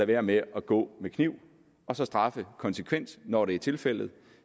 være med at gå med kniv og så straffe konsekvent når det er tilfældet